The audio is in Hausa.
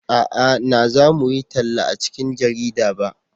a'a na za mu yi talla a cikin jarida ba